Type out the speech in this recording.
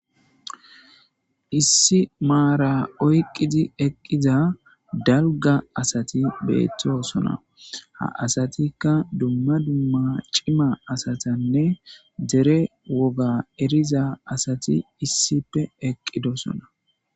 issi maara oyqidi eqqiza dalga asati beettosona ha asatikka dumma dumma cima asatanne dere woga eriza asati issippe eqqidosona